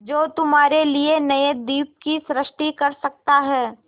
जो तुम्हारे लिए नए द्वीप की सृष्टि कर सकता है